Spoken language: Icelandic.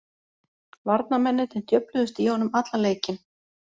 Varnarmennirnir djöfluðust í honum allan leikinn.